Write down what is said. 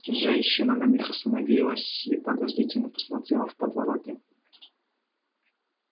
женщина на миг остановилась и подозрительно посмотрела в подворотню